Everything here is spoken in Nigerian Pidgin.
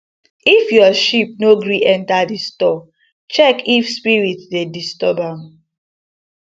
if your sheep no gree enter the store check if spirit dey disturb am